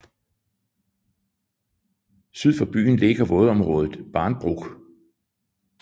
Syd for byen ligger vådområdet Barnbruch